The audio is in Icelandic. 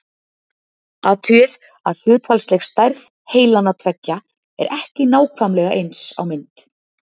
athugið að hlutfallsleg stærð heilanna tveggja er ekki nákvæmlega eins á mynd